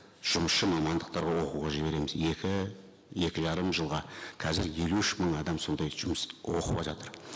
жұмысшы мамандықтарға оқуға жібереміз екі екі жарым жылға қазір елу үш мың адам сондай жұмыс оқып жатыр